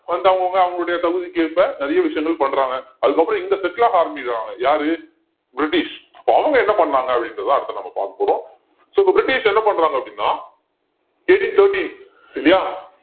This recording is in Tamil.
வந்து அவங்கவங்க அவங்களுடைய தகுதிக்கேற்ப நிறைய விஷயங்கள் பண்றாங்க அதுக்கப்புறம் இங்க settle ஆக ஆரம்பிக்கிறாங்க யாரு பிரிட்டிஷ் அப்ப அவங்க என்ன பண்ணாங்க அப்படின்றதை அடுத்து நம்ம பாக்க போறோம் so இப்ப பிரிட்டிஷ் என்ன பண்றாங்க அப்படின்னா eighteen thirteen இல்லையா